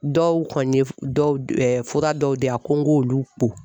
Dɔw kɔni ye dɔw fura dɔw di yan ko n k'olu ko.